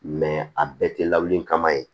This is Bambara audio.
a bɛɛ tɛ lawuli kama ye